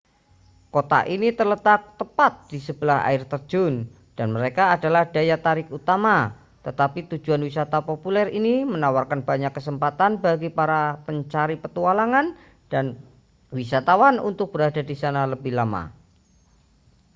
kota ini terletak tepat di sebelah air terjun dan mereka adalah daya tarik utama tetapi tujuan wisata populer ini menawarkan banyak kesempatan bagi para pencari petualangan dan wisatawan untuk berada di sana lebih lama